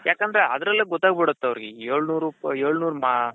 ಯಾಕಂದ್ರೆ ಅದರಲ್ಲೇ ಗೊತ್ತಾಗ್ಬಿಡುತ್ತೆ ಅವರ್ಗೆ ಏಳ್ನೂರು ಏಳ್ನೂರು